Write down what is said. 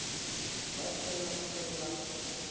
ba se na se ba